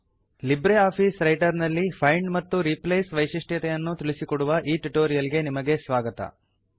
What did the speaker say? Libre office Writer ನಲ್ಲಿ find ಮತ್ತು replace ವೈಶಿಷ್ಟ್ಯತೆಯನ್ನು ತಿಳಿಸಿಕೊಡುವ ಈ ಟ್ಯುಟೋರಿಯಲ್ ಗೆ ನಿಮಗೆ ಸ್ವಾಗತ